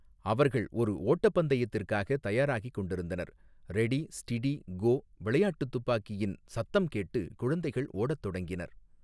அவர்கள் ஒரு ஓட்டப்பந்தயத்திற்காக தயாராகி கொண்டிருந்தனர் ரெடி ஸ்டிடி கோ விளையாட்டு துப்பாக்கியின் சத்தம் கேட்டு குழந்தைகள் ஓட தொடங்கினர்.